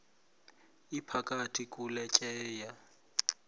iphakathi kule tyeya